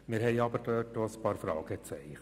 Wir setzen aber dort auch einige Fragezeichen.